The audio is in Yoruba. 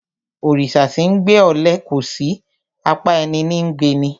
Òrìsà tí 'ńgbe ọle kòsí; apá ẹní ní ńgbe ni.